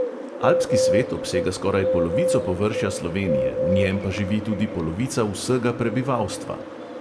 Alpski svet obsega skoraj polovico površja slovenije, v njem pa živi tudi polovica vsega prebivalstva.